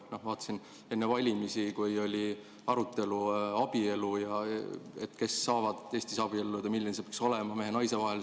Vaatasin enne valimisi, kui oli arutelu abielu teemal, et kes saavad Eestis abielluda ja milline see abielu peaks olema, kas mehe ja naise vahel.